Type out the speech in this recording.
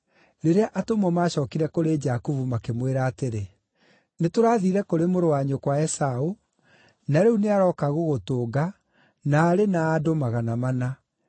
Rĩrĩa atũmwo maacookire kũrĩ Jakubu makĩmwĩra atĩrĩ, “Nĩtũrathiire kũrĩ mũrũ wa nyũkwa Esaũ, na rĩu nĩarooka gũgũtũnga, na arĩ na andũ magana mana.”